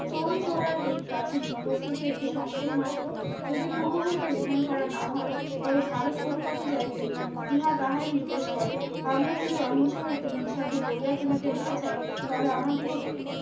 চৌরিচৌরার এই স্রতিটি প্রস্তুত একটি সংকেত মাত্র যদি পূর্ব হইতে মিথেন করা না হয় তবে ভারত কোন পথে যাইবে ইহা তাই নির্দেশ করে আমরা যদি অহিংসা হইতে হিংসা গড়িয়া তুলিতে না চায় তবে আমাদিগকে